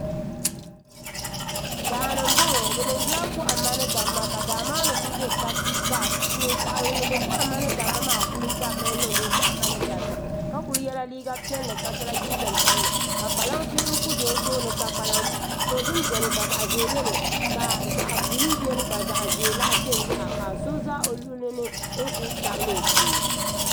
Daani m boŋɔ bɛ niŋdila kohamma ni damma daa maani kuli be kasi ka ŋun niŋdi kohamma ni damma maa kuli dabmi niŋdi o kohamma ni damma ka kuli yela liiga piɛlli ka so la jinjiɛm sabinli ka kpalansi n kuli za o tooni kpalaŋ dozim biɛni ka zaɣa ʒee biɛni ka zaɣa buluu biɛni ka zaɣa ʒee lahi biɛni yaha ka so za o luɣulini n kuli tabla o shee.